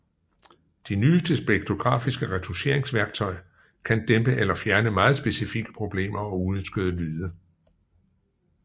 De nyeste spektrografiske retoucheringsværktøj kan dæmpe eller fjerne meget specifikke problemer og uønskede lyde